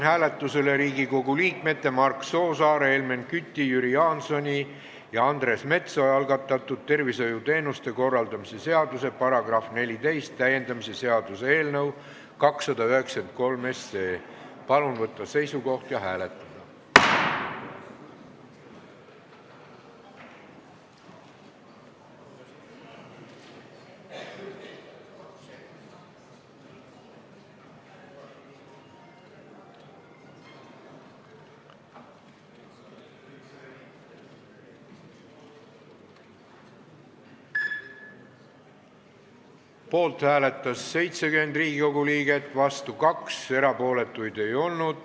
Hääletustulemused Poolt hääletas 70 Riigikogu liiget, vastu 2, erapooletuid ei olnud.